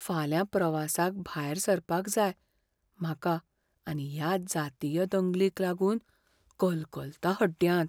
फाल्यां प्रवासाक भायर सरपाक जाय म्हाका आनी ह्या जातीय दंगलींक लागून कलकलता हड्ड्यांत.